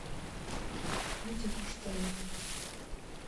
витя куштанов